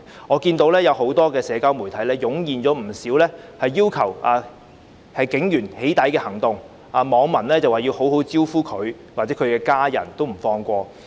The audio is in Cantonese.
我看到很多社交媒體湧現不少把警員"起底"的行動，網民說要好好"招呼"他們，甚至連他們的家人也不放過。